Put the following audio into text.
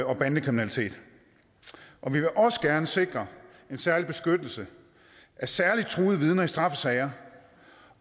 og bandekriminalitet og vi vil også gerne sikre en særlig beskyttelse af særligt truede vidner i straffesager